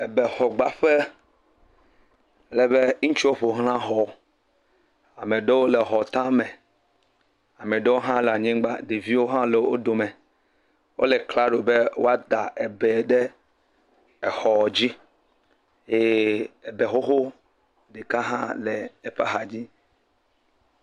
Ebe xɔ gbaƒe alebe ŋutsu wo ƒo ɣla xɔ. Ameaɖewo le xɔ tame, ameaɖewo ha le anyigba. Ɖeviwo hã le wo dome. Wole klalo be wòa da ebe ɖe exɔ dzi eye ebe woɔwoɔ ɖeka hã le eƒe axadzi.